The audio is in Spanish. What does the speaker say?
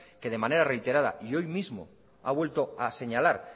que de manera reiterada y hoy mismo ha vuelto a señalar